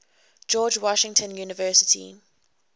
george washington university